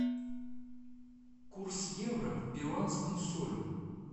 курс евро к перуанскому солю